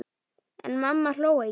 En amma hló ekki.